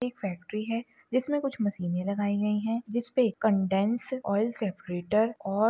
एक फैक्ट्री है जिस मे कुछ मशीने लगाई गई है जिसपे कंडेन्स ऑइल सेपरेटर और--